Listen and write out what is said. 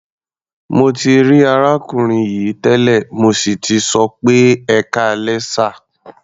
Mo ti rí arákùnrin yìí tẹ́lẹ̀, mo sì tì sọ pé "ẹkáalẹ́ sà".